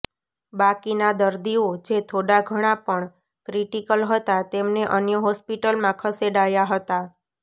બાકીના દર્દીઓ જે થોડા ઘણા પણ ક્રિટિકલ હતા તેમને અન્ય હોસ્પિટલમાં ખસેડાયા હતા